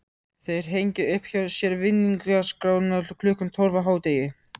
Þeir hengja upp hjá sér vinningaskrána klukkan tólf á hádegi.